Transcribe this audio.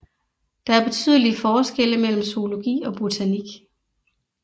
Der er betydelige forskelle mellem zoologi og botanik